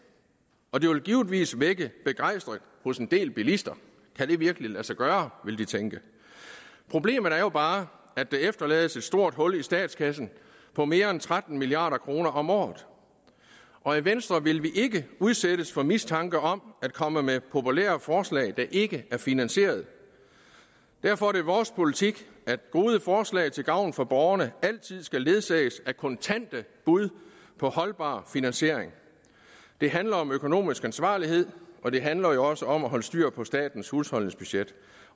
og det vil givetvis vække begejstring hos en del bilister kan det virkelig lade sig gøre vil de tænke problemet er jo bare at der efterlades et stort hul i statskassen på mere end tretten milliard kroner om året og i venstre vil vi ikke udsættes for mistanke om at komme med populære forslag der ikke er finansieret derfor er det vores politik at gode forslag til gavn for borgerne altid skal ledsages af kontante bud på holdbar finansiering det handler om økonomisk ansvarlighed og det handler jo også om at holde styr på statens husholdningsbudget